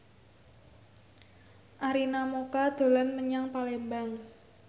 Arina Mocca dolan menyang Palembang